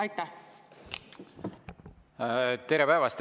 Tere päevast!